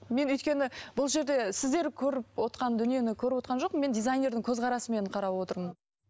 мен өйткені бұл жерде сіздер көріп отырған дүниені көріп отырған жоқпын дизайнердің көзқарасымен қарап отырмын